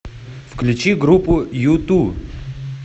включи группу юту